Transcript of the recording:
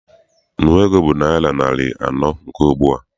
Nnu ego bụ naịra narị anọ nke ugbua.